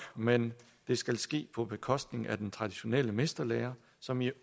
men det skal ske på bekostning af den traditionelle mesterlære som i